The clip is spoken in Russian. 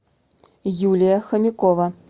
юлия хомякова